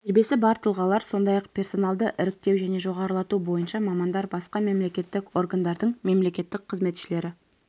тәжірибесі бар тұлғалар сондай-ақ персоналды іріктеу және жоғарылату бойынша мамандар басқа мемлекеттік органдардың мемлекеттік қызметшілері